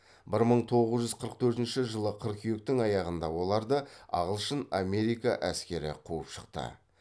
бір мың тоғыз жүз қырық төртінші жылы қыркүйектің аяғында оларды ағылшын америка әскері қуып шықты